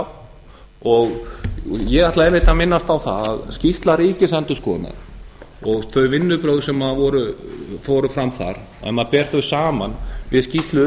á og ég ætlaði einmitt að minnast á það að skýrsla ríkisendurskoðunar og þau vinnubrögð sem fóru fram þar ef maður ber þau saman við skýrslu